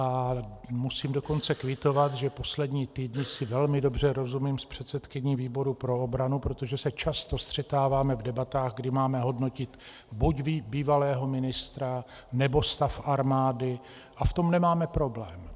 A musím dokonce kvitovat, že poslední týdny si velmi dobře rozumím s předsedkyní výboru pro obranu, protože se často střetáváme v debatách, kdy máme hodnotit buď bývalého ministra, nebo stav armády, a v tom nemáme problém.